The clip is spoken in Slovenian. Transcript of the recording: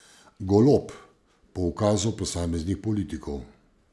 Golob, po ukazu posameznih politikov.